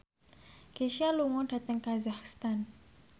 Kesha lunga dhateng kazakhstan